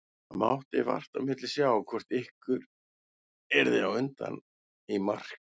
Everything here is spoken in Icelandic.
Það mátti vart á milli sjá hvort ykkar yrði á undan í mark.